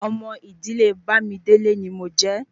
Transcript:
Ọmọ idile Bamidele ni mojé